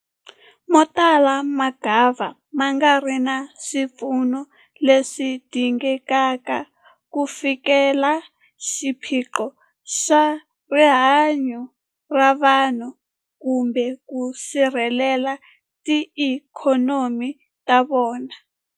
Motala mangava ma nga ri na swipfuno leswi dingekaka ku fikelela xiphiqo xa rihanyu ra vanhu kumbe ku sirhelela tiikhonomi ta vona.